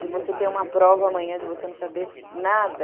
De você ter uma prova amanhã de você não saber nada.